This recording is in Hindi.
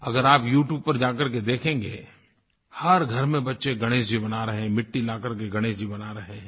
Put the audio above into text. अगर आप यू ट्यूब पर जा करके देखेंगे हर घर में बच्चे गणेश जी बना रहे हैं मिट्टी ला करके गणेश जी बना रहे हैं